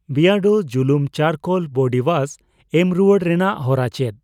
ᱵᱤᱭᱟᱰᱳ ᱡᱩᱞᱩᱢ ᱪᱟᱨᱠᱳᱞ ᱵᱚᱰᱤ ᱣᱭᱟᱥ ᱮᱢ ᱨᱩᱣᱟᱹᱲ ᱨᱮᱱᱟᱜ ᱦᱚᱨᱟ ᱪᱮᱫ?